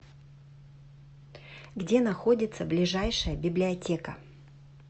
где находится ближайшая библиотека